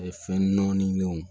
Fɛn nɔni nanw